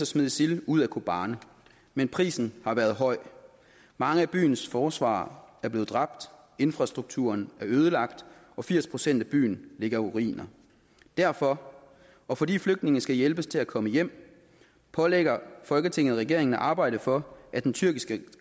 smide isil ud af kobane men prisen har været høj mange af byens forsvarere er blevet dræbt infrastrukturen ødelagt og firs procent af byen ligger i ruiner derfor og fordi flygtninge skal hjælpes til at komme hjem pålægger folketinget regeringen at arbejde for at den tyrkiske